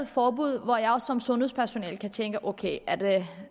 forbud hvor jeg som sundhedspersonale kan tænke ok er det